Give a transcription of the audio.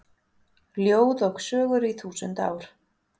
Ljóð og sögur í þúsund ár